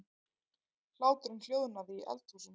Hláturinn hljóðnaði í eldhúsinu.